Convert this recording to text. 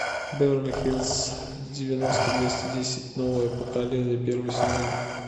беверли хиллс девяносто двести десять новое поколение первый сезон